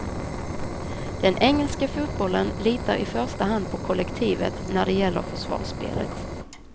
Den engelska fotbollen litar i första hand på kollektivet när det gäller försvarsspelet.